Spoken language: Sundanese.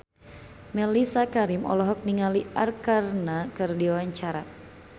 Mellisa Karim olohok ningali Arkarna keur diwawancara